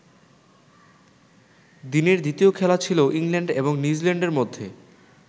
দিনের দ্বিতীয় খেলা ছিল ইংল্যান্ড এবং নিউজিল্যান্ডের মধ্যে।